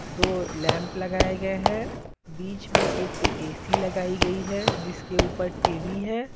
दो लैंप लगाए गए हैं बीच में एक एसी लगाई गई है जिसके ऊपर टीवी है।